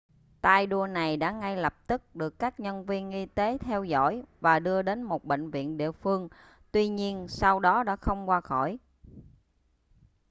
tay đua này đã ngay lập tức được các nhân viên y tế theo dõi và đưa đến một bệnh viện địa phương tuy nhiên sau đó đã không qua khỏi